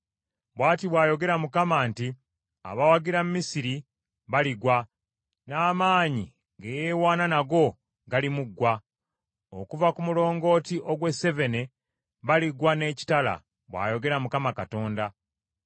“ ‘Bw’ati bw’ayogera Mukama nti, “ ‘Abawagira Misiri baligwa, n’amaanyi ge yeewaana nago galimuggwa. Okuva ku mulongooti ogw’e Sevene baligwa n’ekitala, bw’ayogera Mukama Katonda.